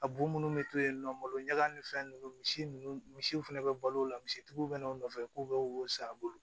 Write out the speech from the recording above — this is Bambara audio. A bo minnu bɛ to yen nɔ malo ɲaga ni fɛn ninnu misi ninnu misiw fɛnɛ bɛ balo o la misitigiw bɛ n'u nɔfɛ k'u bɛ wo san a bolo